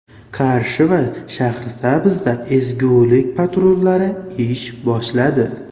Qarshi va Shahrisabzda ezgulik patrullari ish boshladi.